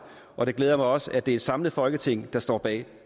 og det glæder mig også at det er et samlet folketing der står bag